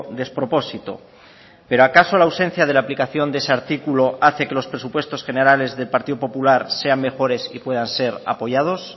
despropósito pero acaso la ausencia de la aplicación de ese artículo hace que los presupuestos generales del partido popular sean mejores y puedan ser apoyados